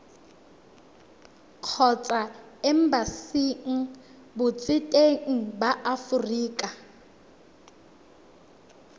kgotsa embasing botseteng ba aforika